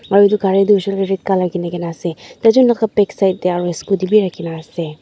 aro etu gari hoisey koiley toh red colour kene ase tai jon la ka backside tey aro scooty b raki kena ase.